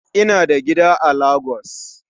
Ina da gida a Lagos